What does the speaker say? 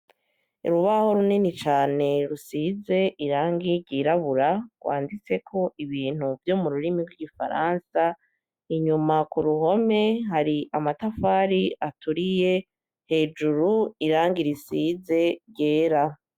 Urubaho runini cane rusize irangi ryirabura, rwanditseko ibintu vyo mururimi rw'igifaransa, inyuma k'uruhome hari amatafari aturiye, hejuru irangi risize ryera.